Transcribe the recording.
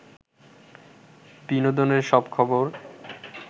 বিনোদনের সব খবর